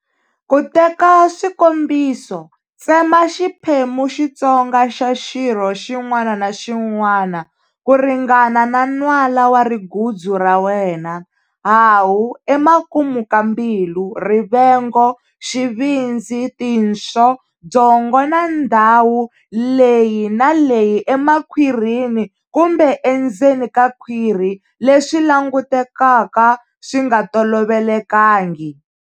Ku teka swikombiso, tsema xiphemu Xitsonga xa xirho xin'wana na xin'wana ku ringana na nwala wa rigudzu ra wena hahu, emakumu ka mbilu, rivengo, xivindzi, tinswo, byongo na ndhawu leyi na leyi emakhwirini kumbe endzeni ka khwiri leswi langutekaka swi nga tolovelekangi.